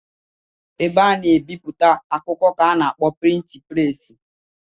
Ebe a na-ebipụta akwụkwọ ka a na-akpọ prịtịn preesị